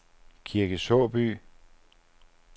Kirke Såby